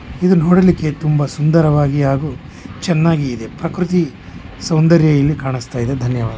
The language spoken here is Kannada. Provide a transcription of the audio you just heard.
ಇದು ನೋಡಲಿಕ್ಕೆ ತುಂಬಾ ಸುದಾರವಾಗಿ ಹಾಗಿ ಚನ್ನಾಗಿ ಇದೆ. ಪ್ರಾಕೃತಿ ಸೌಂದರ್ಯ ಇಲ್ ಕಾಣಸ್ತಾಯಿದೆ. ಧನ್ಯವಾದ್.